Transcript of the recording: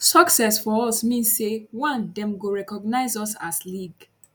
success for us mean say one dem go recognize us as league